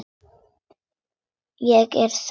Ég er slæg.